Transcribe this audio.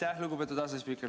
Aitäh, lugupeetud asespiiker!